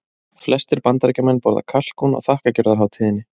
Flestir Bandaríkjamenn borða kalkún á þakkargjörðarhátíðinni.